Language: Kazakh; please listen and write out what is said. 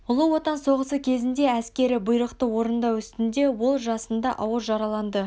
ұлы отан соғысы кезінде әскері бұйрықты орындау үстінде ол жасында ауыр жараланды